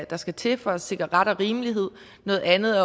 der skal til for at sikre ret og rimelighed noget andet